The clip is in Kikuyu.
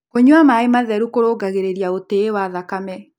Kũnyua mae matherũ kũrũngagĩrĩrĩa ũtĩĩ wa thakame